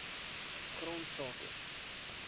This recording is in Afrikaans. grondsake